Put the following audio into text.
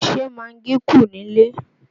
Ṣé magí kù nílé?